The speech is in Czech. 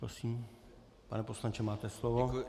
Prosím, pane poslanče, máte slovo.